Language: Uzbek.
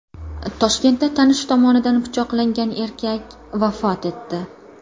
Toshkentda tanishi tomonidan pichoqlangan erkak vafot etdi.